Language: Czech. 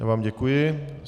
Já vám děkuji.